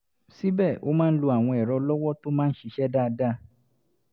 síbẹ̀ ó máa ń lo àwọn ẹ̀rọ ọlọ́wọ́ tó máa ń ṣiṣẹ́ dáadáa